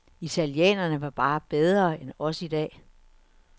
Italienerne var bare bedre end os i dag.